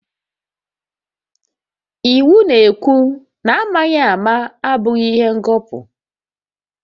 Iwu na-ekwu na amaghị ama abụghị ihe ngọpụ